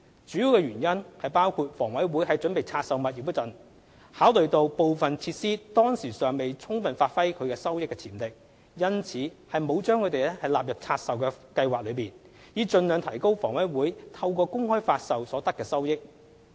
主要原因包括房委會在準備拆售物業時，考慮到部分設施當時尚未充分發揮其收益潛力，因此沒有把它們納入拆售計劃，以盡量提高房委會透過公開發售所得的收益。